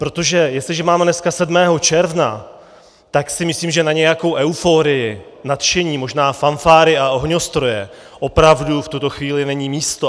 Protože jestliže máme dneska 7. června, tak si myslím, že na nějakou euforii, nadšení, možná fanfáry a ohňostroje opravdu v tuto chvíli není místo.